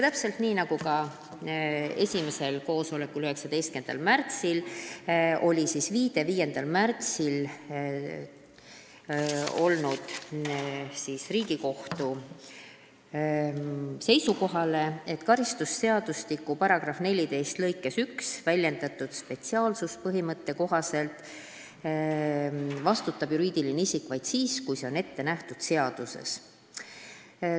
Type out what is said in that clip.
Täpselt nii nagu esimesel koosolekul 19. märtsil, tehti viide 5. märtsil selgunud Riigikohtu seisukohale, et karistusseadustiku § 14 lõikes 1 väljendatud spetsiaalsuspõhimõtte kohaselt vastutab juriidiline isik vaid siis, kui see on ette nähtud seaduses.